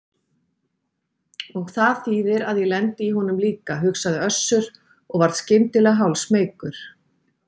Og það þýðir að ég lendi í honum líka, hugsaði Össur og varð skyndilega hálfsmeykur.